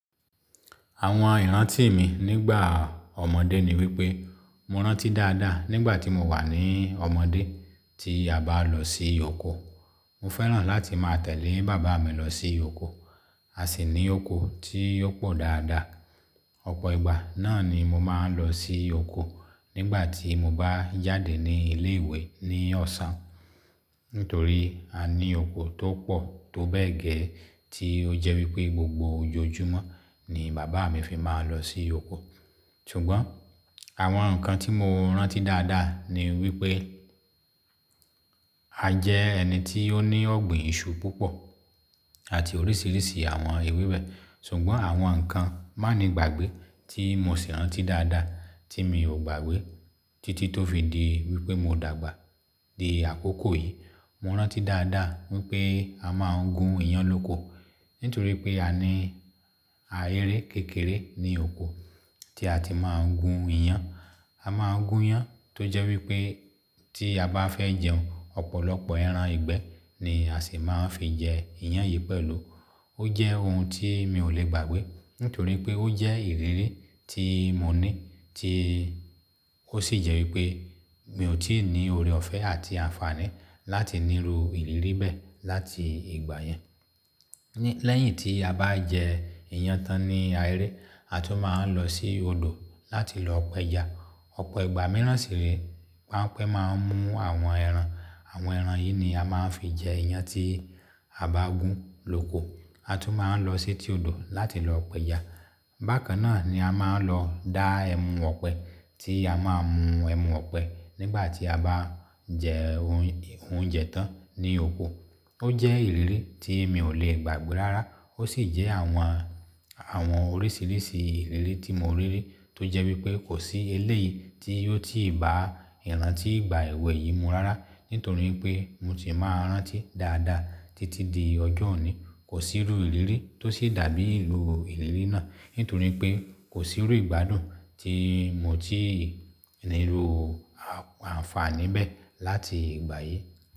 Àwọn ìrántí mi nígbà ọmọdé ni wípé mo rántí dáadáa nígbà tí mo wà ní ọmọdé tí a bá lọ sí oko. Mo fẹ́ràn láti máa tẹ̀lé bàbá mi lọ sí oko. A sì ní oko tí ó pọ̀ dáadáa. Ọ̀pọ̀ ìgbà náà ni mo máa ń lọ sí oko nígbà tí mo bá jáde ní ilé ìwé ní ọ̀sán. Nítorí a ní oko tó pọ̀ tó bẹ́ẹ̀ gẹ́ẹ́ tí ó jẹ́ wípé gbogbo ojoojúmọ́ ni bàbá mi fi máa ń lọ sí oko. Ṣùgbọ́n àwọn nǹkan tí mo rántí dáadáa ni wípé a jẹ́ ẹni tí ó ní ọ̀gbìn iṣu púpọ̀ àti oríṣiríṣi àwọn ewébẹ̀. Ṣùgbọ́n àwọn nǹkan mánígbàgbé tí mo sì rántí dáadáa tí mi ò gbàgbé títí tó fi di wípé mo dàgbà di àkókò yìí. Mo rántí dáadáa wípé a máa ń gún iyán lóko nítorí pé a ní ahéré kékeré ní oko tí a ti máa ń gún iyán. A máa ń gún iyán tó jẹ́ wípé tí a bá fẹ́ jẹun ọ̀pọ̀lọpọ̀ ẹran ìgbẹ́ ni a sì máa ń fi jẹ iyán yìí pẹ̀lú. Ó jẹ́ ohun tí mi ò le gbàgbé nítorí pé ó jẹ́ ìrírí tí mo ní tí ó sì jẹ́ wípé mi ò tí ì ní ọrẹ ọ̀fẹ́ àti àǹfààní láti níru ìrírí bẹ́ẹ̀ láti ìgbà yẹn. Lẹ́yìn tí a bá jẹ iyán tán ní ahéré, a tún máa ń lọ sí odò láti lọ pẹja. Ọ̀pọ̀ ìgbà mìíràn sì re panpe máa ń mú àwọn ẹran. Àwọn ẹran yìí ni a máa ń fi jẹ iyán tí a bá gún lóko. A tún máa ń lọ sí ti odò láti lọ pẹja. Bákan náà ni a máa ń lọ dá ẹmu ọ̀pẹ tí a máa ń mú ẹmu ọ̀pẹ nígbà tí a bá ń jẹ oun oúnjẹ tán ní oko. Ó jẹ́ ìrírí tí mi ò le gbàgbé lára. Ó sì jẹ́ àwọn, àwọn oríṣiríṣi ìrírí tí mo rí rí tó jẹ́ wípé kò sí eléyìí tí yóò tíì bá ìrántí ìgbà èwe yìí mú rára nítorí pé mo si máa ń rántí dáadáa títí di ọjọ́ òní. Kò sí rú ìrírí tó ṣi dàbí ìru ìrírí náà nítorí pé kò sí rú ìgbádùn tí mo ti níru àǹfààní bẹ́ẹ̀ láti ìgbà yìí.